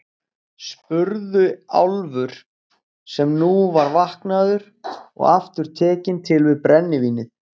spurði Álfur, sem nú var vaknaður og aftur tekinn til við brennivínið.